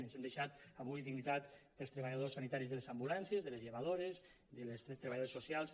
ens hem deixat avui dignitat dels treballadors sanitaris de les ambulàncies de les llevadores de les treballadores socials